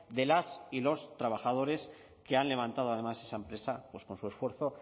de las y los trabajadores que han levantado además esa empresa con su esfuerzo